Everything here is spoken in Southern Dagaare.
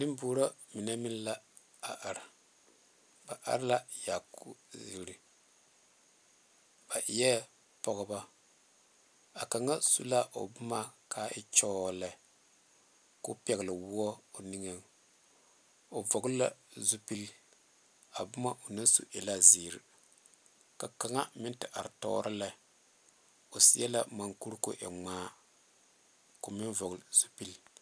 Nenbuoro mine la da are la sakuuriyiri ba e a kaŋa su la o boma nyoo lɛ ko pɛle wɔ o vɔle la zu pele a boma o naŋ su e la zeɛre ka kaŋ meŋ te are tuoro la kaa kaŋa meŋ are tuoro le.